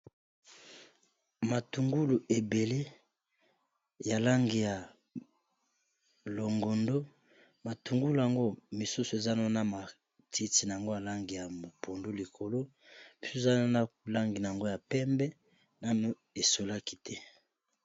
matungulu ebele ya langi ya longondo matungulu yango misusu ezana na matiti na yango alangi ya mpondo likolo mpe ezana na langi na yango ya pembe nano esolaki te